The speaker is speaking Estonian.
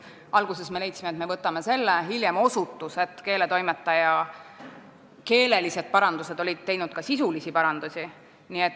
Alguses me leidsime, et võtame, kuid hiljem osutus, et keeletoimetaja oli peale keeleliste paranduste teinud ka sisulisi parandusi.